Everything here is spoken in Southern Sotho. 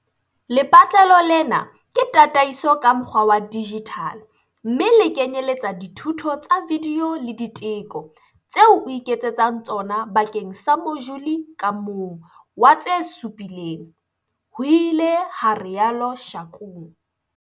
"Lepatlelo lena ke tataiso ka mokgwa wa dijithale mme le kenyeletsa dithuto tsa vidiyo le diteko tseo o iketsetsang tsona bakeng sa mojule ka mong wa tse supileng," ho ile ha rialo Shakung.